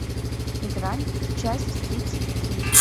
грань часть тридцать три